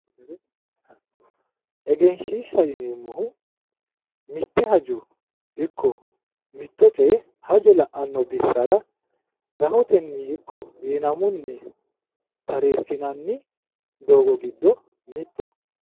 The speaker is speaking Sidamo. Eganshiishsha yineemmohu mitte hajo ikko mitto coye haja la'anno bissara rahotenni iko wiinammunni tareesinanni doogo giddo mittoho